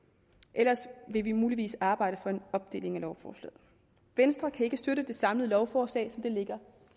ellers vil vi muligvis arbejde for en opdeling af lovforslaget venstre kan ikke støtte det samlede lovforslag som det ligger